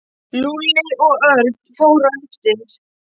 Lúlli og Örn fóru á eftir.